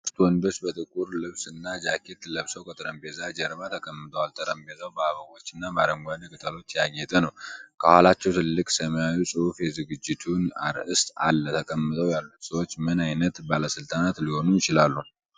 ሦስት ወንዶች በጥቁር ልብስ እና ጃኬት ለብሰው ከጠረጴዛ ጀርባ ተቀምጠዋል። ጠረጴዛው በአበቦች እና በአረንጓዴ ቅጠሎች ያጌጠ ነው። ከኋላቸው ትልቅ ሰማያዊ ጽሑፍ የዝግጅቱን አርዕስት አለ። ተቀምጠው ያሉት ሰዎች ምን ዓይነት ባለሥልጣናት ሊሆኑ ይችላሉ?